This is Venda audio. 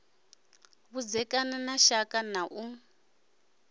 vhudzekani na shaka na u